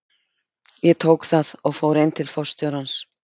Ég tók það og fór inn til forstjórans.